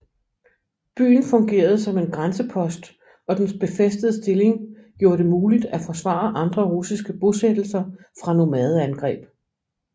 Byen fungerede som en grænsepost og dens befæstede stilling gjorde det muligt at forsvare andre russiske bosættelser fra nomadeangreb